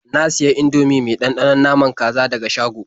Na sayi Indomie mai ɗanɗanon naman kaza daga shago.